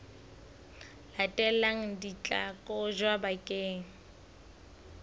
latelang di tla kotjwa bakeng